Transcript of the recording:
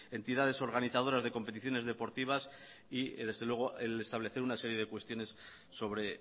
entidades organizadoras de competiciones deportivas y desde luego el establecer una serie de cuestiones sobre